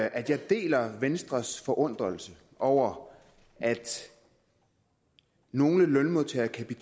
at jeg deler venstres forundring over at nogle lønmodtagere kan